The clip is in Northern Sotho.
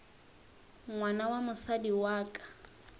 ngwana wa mosadi wa ka